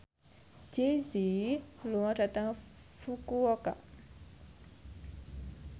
Jay Z lunga dhateng Fukuoka